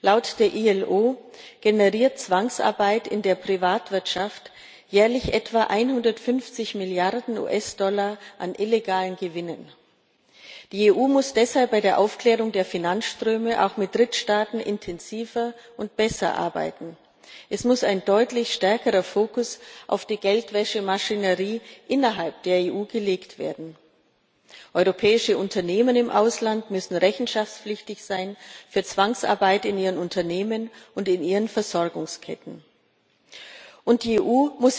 Laut der IAO generiert Zwangsarbeit in der Privatwirtschaft jährlich etwa 150 Mrd. US Dollar an illegalen Gewinnen. Die EU muss deshalb bei der Aufklärung der Finanzströme auch mit Drittstaaten intensiver und besser arbeiten. Es muss ein deutlich stärkerer Fokus auf die Geldwäschemaschinerie innerhalb der EU gelegt werden. Europäische Unternehmen im Ausland müssen für Zwangsarbeit in ihren Unternehmen und in ihren Versorgungsketten rechenschaftspflichtig